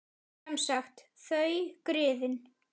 Sem sagt: þau, griðin.